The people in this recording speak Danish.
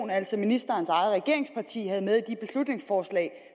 altså ministerens eget regeringsparti havde med i de beslutningsforslag